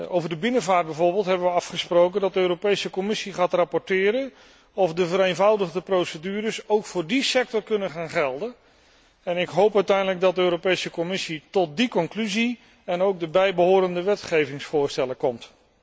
Over de binnenvaart bijvoorbeeld hebben we afgesproken dat de Europese Commissie gaat rapporteren over de vraag of de vereenvoudigde procedures ook voor die sector kunnen gaan gelden en ik hoop uiteindelijk dat de Europese Commissie tot die conclusie en ook de bijbehorende wetgevingsvoorstellen komt.